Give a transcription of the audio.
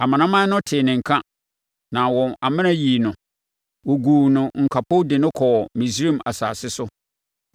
Amanaman no tee ne nka, na wɔn amena yii no. Wɔguu no nkapo de no kɔɔ Misraim asase so.